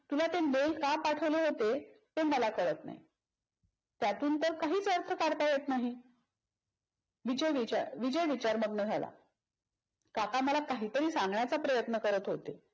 तुला ते mail का पाठवले होते ते मला काळात नाही. त्यातून तर काहीच अर्थ काढता येत नाही. विजय विचार विजय विचारमग्न झाला. काका मला काहीतरी सांगण्याचा प्रयत्न करत होते.